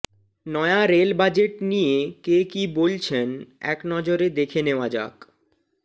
নয়া rail budget নিয়ে কে কী বলছেন একনজরে দেখে নেওয়া যাক